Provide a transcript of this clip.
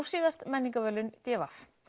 síðast menningarverðlaun d v